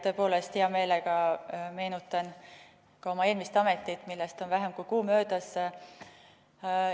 Tõepoolest, hea meelega meenutan ka oma eelmist ametit, millest on vähem kui kuu möödas.